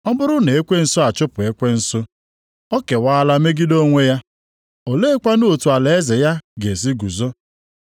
Ọ bụrụ na ekwensu achụpụ ekwensu, o kewala megide onwe ya. Oleekwanụ otu alaeze ya ga-esi guzo.